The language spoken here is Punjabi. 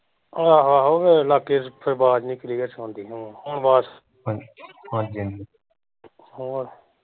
ਆਹੋ ਆਹੋ ਫੇਰ ਲਾਗੇ ਆਵਾਜ਼ ਨੀ clear ਸੁਣਦੀ ਹਮ ਹੋਰ